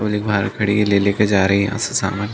वो लोग बाहर खड़े है लेले के जा रहे है यहाँ से सामान --